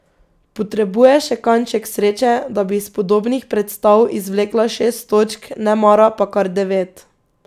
Potrebuje še kanček sreče, da bi iz podobnih predstav izvlekla šest točk, nemara pa kar devet.